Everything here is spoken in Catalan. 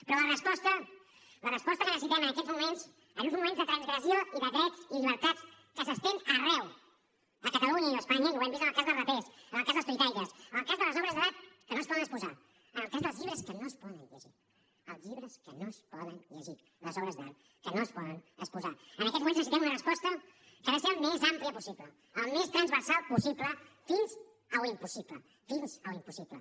però la resposta que necessitem en aquests moments en uns moments de transgressió i de drets i llibertats que s’estén arreu de catalunya i d’espanya i ho hem vist en el cas dels rapers en el cas dels tuitaires en el cas de les obres d’art que no es poden exposar en el cas dels llibres que no es poden llegir els llibres que no es poden llegir les obres d’art que no es poden exposar en aquests moments necessitem una resposta que ha de ser al més àmplia possible al més transversal possible fins a l’impossible fins a l’impossible